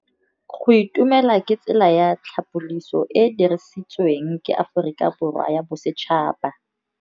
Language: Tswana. Go itumela ke tsela ya tlhapolisô e e dirisitsweng ke Aforika Borwa ya Bosetšhaba.